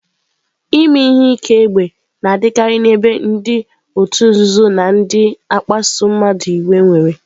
Ime ihe ike égbè na-adịkarị n'ebe ndị òtù nzuzo na ndị na-akpasu mmadụ iwe nwere.